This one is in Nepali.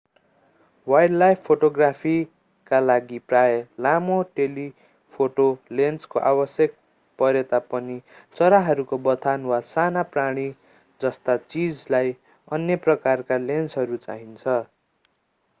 वाइल्डलाइफ फोटोग्राफीका लागि प्राय लामो टेलिफोटो लेन्सको आवश्यक परेता पनि चराहरूको बथान वा साना प्राणी जस्ता चीजलाई अन्य प्रकारका लेन्सहरू चाहिन्छ